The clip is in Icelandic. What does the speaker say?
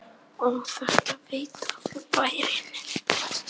Og þetta veit allur bærinn?